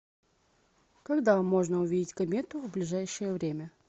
когда можно увидеть комету в ближайшее время